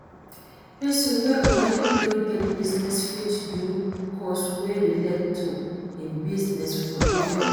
Persin wey already don get business fit do course wey relate to im business for evening class